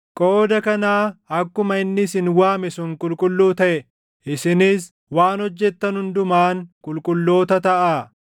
Qooda kanaa akkuma inni isin waame sun qulqulluu taʼe, isinis waan hojjetan hundumaan qulqulloota taʼaa;